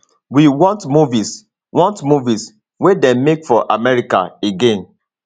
we want movies want movies wey dem make for america again